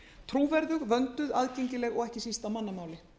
trúverðug vönduð aðgengileg og ekki síst á mannamáli